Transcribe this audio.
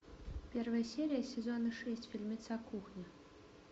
первая серия сезона шесть фильмеца кухня